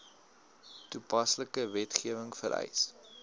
toepaslike wetgewing vereis